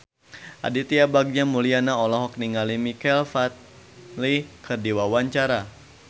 Aditya Bagja Mulyana olohok ningali Michael Flatley keur diwawancara